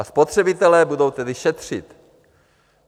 A spotřebitelé budou tedy šetřit.